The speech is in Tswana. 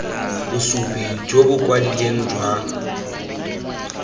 bosupi jo bo kwadilweng jwa